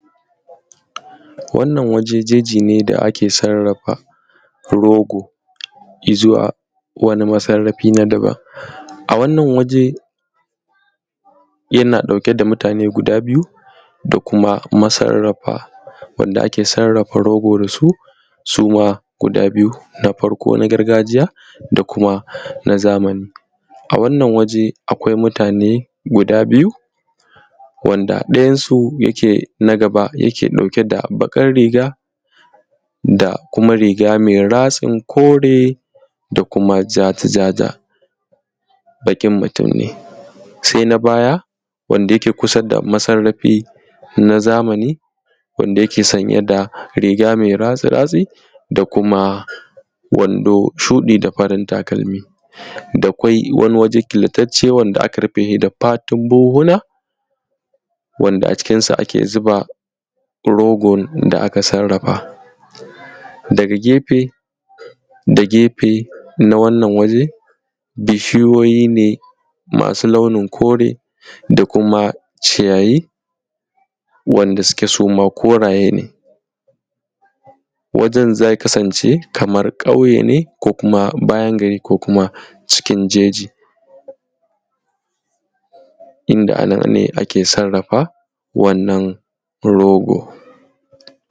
wannan waje jeji ne da ake sarrafa rogo izuwa wani masarrafi na daban a wannan waje yana ɗauke da mutane guda biyu da kuma masarrafa wanda ake sarrafa rogo dasu su ma guda biyu na farko na gargajiya da kuma na zamani a wannan waje akwai mutane guda biyu wanda ɗayan su yake na gaba yake ɗauke da baƙar riga da kuma riga mai ratsin kore da kuma ja ja-ja baƙin mutum ne sai na baya wanda yake kusa da masarrafi na zamani wanda yake sanye da riga mai ratsi-ratsi da kuma wando shuɗi da farin takalmi da kuma wani waje killatacce da aka rufe da fatun buhunhuna wanda a cikin sa ake zuba rogon da aka sarrafa daga gefe da gefe na wannan waje bishiyoyi ne masu launin kore da kuma ciyayi wanda suke suma koraye ne wajen zai kasance kamar ƙauye ne ko kuma bayan gari ko kuma cikin jeji inda anan ne ake sarrafa wannan rogon